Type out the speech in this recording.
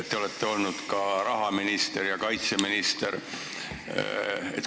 Te olete olnud ka rahandusminister ja kaitseminister.